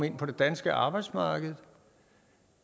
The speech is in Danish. ind på det danske arbejdsmarked